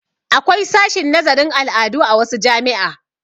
Akwai sashin nazarin al'adu a wasu jami'a.